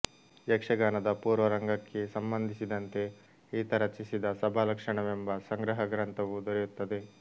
ಯಕ್ಷಗಾನದ ಪೂರ್ವರಂಗಕ್ಕೆ ಸಂಬಂಧಿಸಿದಂತೆ ಈತ ರಚಿಸಿದ ಸಭಾಲಕ್ಷಣವೆಂಬ ಸಂಗ್ರಹಗ್ರಂಥವೂ ದೊರೆಯುತ್ತದೆ